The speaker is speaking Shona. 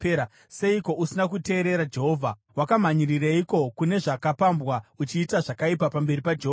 Seiko usina kuteerera Jehovha? Wakamhanyirireiko kune zvakapambwa uchiita zvakaipa pamberi paJehovha?”